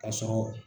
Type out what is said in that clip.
Ka sɔrɔ